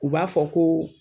U b'a fɔ ko